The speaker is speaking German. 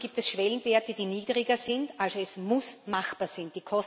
Hier gibt es Schwellenwerte, die niedriger sind, also muss es machbar sein.